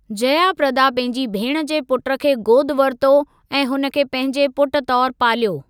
जया प्रदा पंहिंजी भेण जे पुट खे गोदि वरितो ऐं हुन खे पंहिंजे पुट तौरु पालियो।